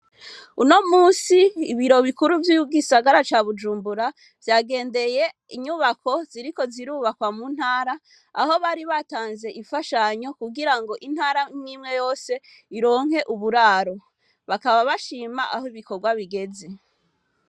Uno musi ibiro bikuru vy'ygisagara ca bujumbura vyagendeye inyubako ziriko zirubakwa mu ntara aho bari batanze ifashanyo kugira ngo intara mwimwe yose ironke uburaro bakaba bashima aho ibikorwa bigeze.